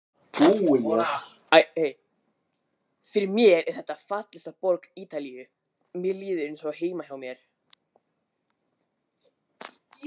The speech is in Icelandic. Emil: Fyrir mér er þetta fallegasta borg Ítalíu, mér líður eins og heima hjá mér.